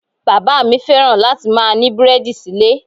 Bàbá mi fẹ́ràn láti máa ní búrẹ́dì síle.